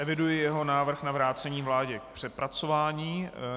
Eviduji jeho návrh na vrácení vládě k přepracování.